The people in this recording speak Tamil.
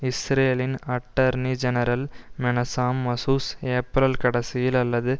இஸ்ரேலின் attorney general Menachem Mazuz April கடைசியில் அல்லது